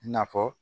I na fɔ